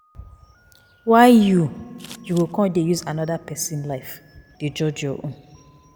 Why you you go come dey use anoda pesin life dey judge your own?